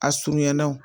A surunyana o